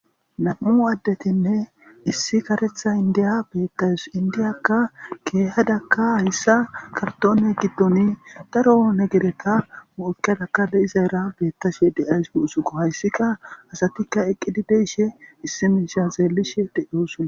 nam7u addetinne issi karetha indiya beettayus indiyakka keehadakka hayssa kartoone giddoni daro oone gereta mu7ukadakale iza era beettashe de7ays guusuko hayssika asatikka eqqidi deishe issimisha zeellishe deyoosuna